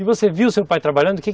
E você viu o seu pai trabalhando?